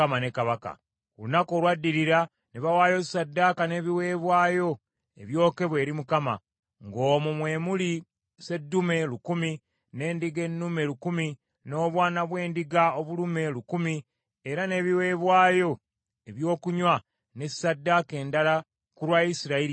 Ku lunaku olwaddirira ne bawaayo ssaddaaka n’ebiweebwayo ebyokebwa eri Mukama , ng’omwo mwe muli seddume lukumi, n’endiga ennume lukumi, n’obwana bw’endiga obulume lukumi, era n’ebiweebwayo eby’okunywa ne ssaddaaka endala ku lwa Isirayiri yenna.